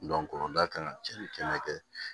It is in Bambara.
kan ka cɛnni kɛnɛ kɛ